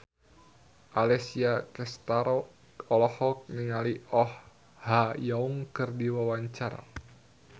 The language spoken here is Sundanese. Alessia Cestaro olohok ningali Oh Ha Young keur diwawancara